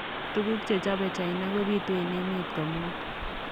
Tuguk che chobei China kobiitu eng emet komugul.